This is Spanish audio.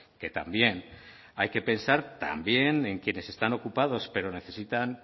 que también hay que pensar también en quienes están ocupados pero necesitan